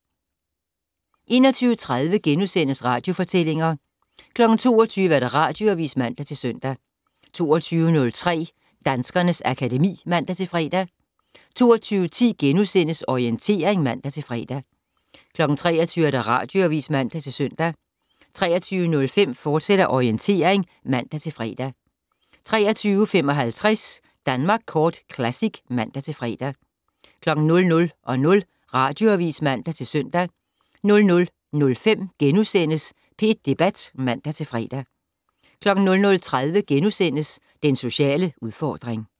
21:30: Radiofortællinger * 22:00: Radioavis (man-søn) 22:03: Danskernes akademi (man-fre) 22:10: Orientering *(man-fre) 23:00: Radioavis (man-søn) 23:05: Orientering, fortsat (man-fre) 23:55: Danmark Kort Classic (man-fre) 00:00: Radioavis (man-søn) 00:05: P1 Debat *(man-fre) 00:30: Den sociale udfordring *